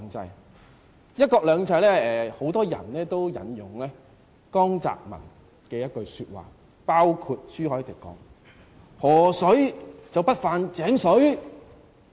有關"一國兩制"，很多人也引用江澤民的一句說話——包括朱凱廸議員——河水不犯井水。